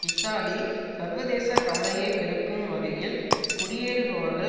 Italy சர்வதேசக் கவலையை பெருக்கும் வகையில் குடியேறுபவர்கள்